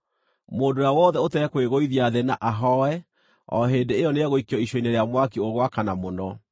Mũndũ ũrĩa wothe ũtekwĩgũithia thĩ na ahooe, o hĩndĩ ĩyo nĩegũikio icua-inĩ rĩa mwaki ũgwakana mũno.”